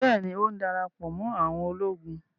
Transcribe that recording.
Bẹ́ẹ̀ni, ó ń darapọ̀ mọ́ àwọn ológun